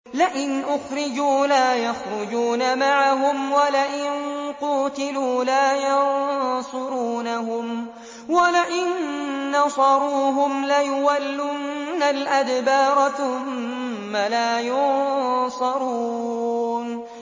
لَئِنْ أُخْرِجُوا لَا يَخْرُجُونَ مَعَهُمْ وَلَئِن قُوتِلُوا لَا يَنصُرُونَهُمْ وَلَئِن نَّصَرُوهُمْ لَيُوَلُّنَّ الْأَدْبَارَ ثُمَّ لَا يُنصَرُونَ